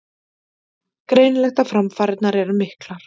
Greinilegt að framfarirnar eru miklar